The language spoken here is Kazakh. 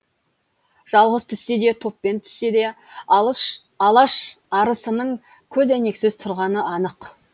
жалғыз түссе де топпен түссе де алаш арысының көзәйнексіз тұрғаны анық